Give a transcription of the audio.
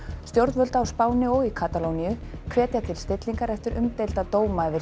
stjórnvöld á Spáni og í Katalóníu hvetja til stillingar eftir umdeilda dóma yfir